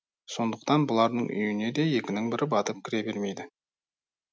сондықтан бұлардың үйіне де екінің бірі батып кіре бермейді